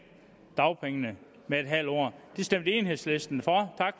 dagpengene med en halv år det stemte enhedslisten for